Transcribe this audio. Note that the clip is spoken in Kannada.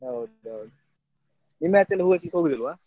ಹೌದೌದು ನಿಮ್ಮಾಚೆ ಎಲ್ಲ ಹೂ ಹೆಕ್ಲಿಕ್ಕೆ ಹೋಗುದಿಲ್ವಾ?